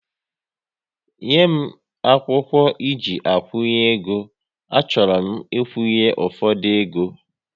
Nye m akwụkwọ eji akwunye égo, a chọrọ m ikwunye ụfọdụ égo